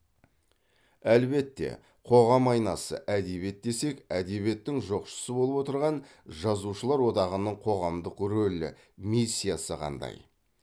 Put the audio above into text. әлбетте қоғам айнасы әдебиет десек әдебиеттің жоқшысы болып отырған жазушылар одағының қоғамдық рөлі миссиясы қандай